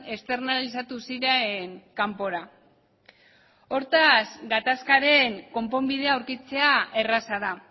externalizatu ziren kanpora hortaz gatazkaren konponbidea aurkitzea erraza da